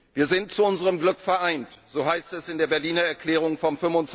Wir sind zu unserem Glück vereint so heißt es in der Berliner Erklärung vom